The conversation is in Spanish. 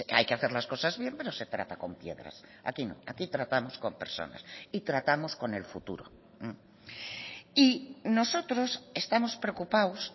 hay que hacer las cosas bien pero se trata con piedras aquí no aquí tratamos con personas y tratamos con el futuro y nosotros estamos preocupados